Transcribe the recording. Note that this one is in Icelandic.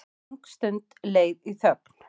Löng stund leið í þögn.